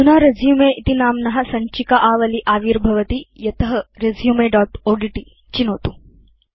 अधुना रेसुमे इति नाम्न सञ्चिका आवली आविर्भवति यत रेसुमे दोत् ओड्ट् चिनोतु